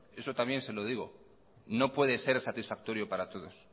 eso también se lo digo no puede ser satisfactorio para todos